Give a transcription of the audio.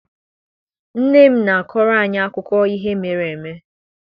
Nne m na-akọrọ anyị akụkọ ihe mere eme.